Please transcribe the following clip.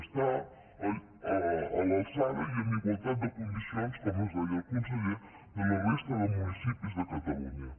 està a l’alçada i en igualtat de condicions com ens deia el conseller que la resta de municipis de catalunya